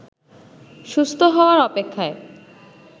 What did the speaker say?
সুস্থ হওয়ার অপেক্ষায়